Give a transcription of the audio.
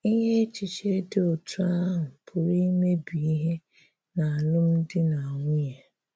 Ínyè echiche dị̀ otú ahụ̀ pụrụ imebi ihè n’álụ́mdi na nwunye.